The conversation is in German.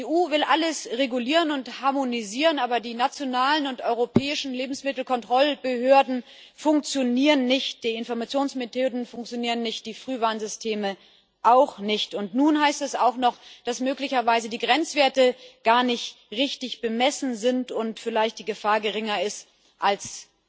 Die EU will alles regulieren und harmonisieren, aber die nationalen und europäischen Lebensmittelkontrollbehörden funktionieren nicht, die Informationsmethoden funktionieren nicht, die Frühwarnsysteme auch nicht. Und nun heißt es auch noch, dass möglicherweise die Grenzwerte gar nicht richtig bemessen sind und vielleicht die Gefahr geringer ist als